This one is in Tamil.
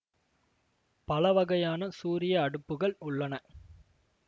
பல வகையான சூரிய அடுப்புகள் உள்ளன